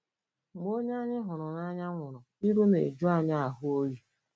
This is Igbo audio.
Mgbe onye anyị hụrụ n'anya nwụrụ, iru na-eju anyị ahụ oyi.